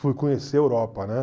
Fui conhecer a Europa, né?